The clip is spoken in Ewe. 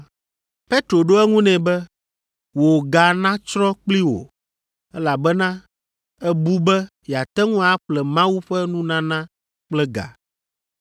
Petro ɖo eŋu nɛ be, “Wò ga natsrɔ̃ kpli wò, elabena èbu be yeate ŋu aƒle Mawu ƒe nunana kple ga!